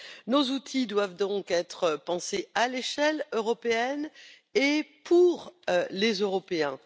Nos outils doivent donc être pensés à l'échelle européenne et pour les Européens.